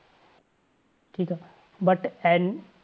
ਠੀਕ but ਇਹਨ~